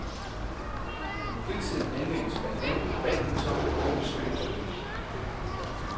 Fritiden anvendes blandt andet på badminton og i skytteforeningen.